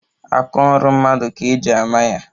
Aka ọrụ mmadụ ka-eji ama ya